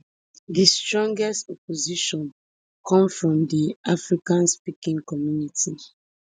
di strongest opposition come from di afrikaansspeaking community